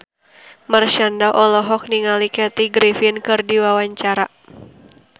Marshanda olohok ningali Kathy Griffin keur diwawancara